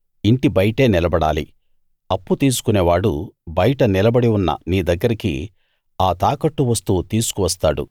ఇంటి బయటే నిలబడాలి అప్పు తీసుకునేవాడు బయట నిలబడి ఉన్న నీ దగ్గరికి ఆ తాకట్టు వస్తువు తీసుకు వస్తాడు